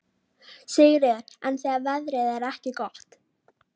Sigríður: En þegar veðrið er ekki gott?